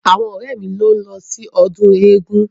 Àwọn ọ̀rẹ́ mi ni ó ń lọ sí ọdún eégun.